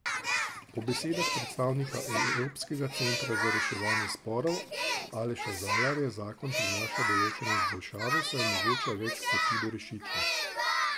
Po besedah predsednika Evropskega centra za reševanje sporov Aleša Zalarja zakon prinaša določene izboljšave, saj omogoča več poti do rešitve.